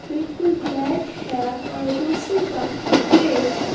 बिल्कुल ब्लैक है और दूसरी का ग्रे है।